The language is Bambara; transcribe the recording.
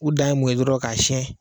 O dan ye mun ye dɔrɔn ka siyɛn